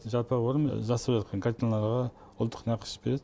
жалпақ өрім жасап жатқан картинаға ұлттық нақыш береді